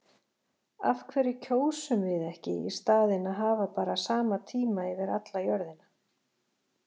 Af hverju kjósum við ekki í staðinn að hafa bara sama tíma yfir alla jörðina?